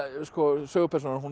sögupersónan hún